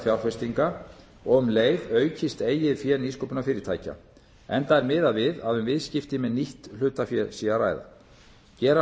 fjárfestinga og um leið aukist eigið fé nýsköpunarfyrirtækja enda er miðað við að um viðskipti með nýtt hlutafé sé að ræða gera